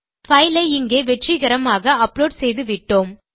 file ஐ இங்கே வெற்றிகரமாக அப்லோட் செய்துவிட்டோம்